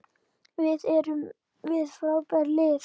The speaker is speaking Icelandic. Við erum með frábært lið.